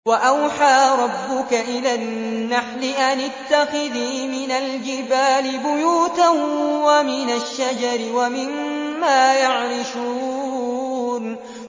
وَأَوْحَىٰ رَبُّكَ إِلَى النَّحْلِ أَنِ اتَّخِذِي مِنَ الْجِبَالِ بُيُوتًا وَمِنَ الشَّجَرِ وَمِمَّا يَعْرِشُونَ